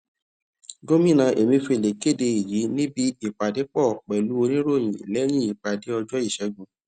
gómìnà emefiele kéde èyí níbi ìpàdépò pèlú oníròyìn léyìn ìpàdé ọjó ìṣégun